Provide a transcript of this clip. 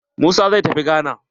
Musa zai tafi gana.